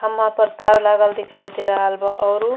खम्मा पर तार लागल दिखाई दे रहल बा। औरु --